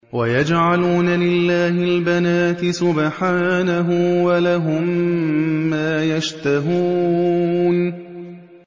وَيَجْعَلُونَ لِلَّهِ الْبَنَاتِ سُبْحَانَهُ ۙ وَلَهُم مَّا يَشْتَهُونَ